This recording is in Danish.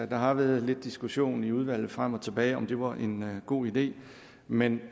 der har været lidt diskussion i udvalget frem og tilbage om det var en god idé men